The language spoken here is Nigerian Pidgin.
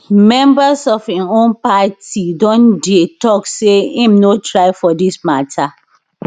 members of im own party don dey tok say im no try for dis mata